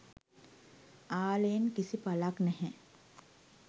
ආලයෙන් කිසි පලක් නැහැ.